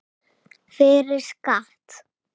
Fyrir skatt.